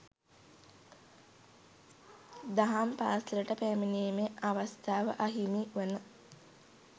දහම් පාසලට පැමිණීමේ අවස්ථාව අහිමි වන